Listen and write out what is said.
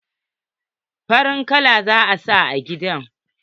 Farin kala za'a sa a gidan.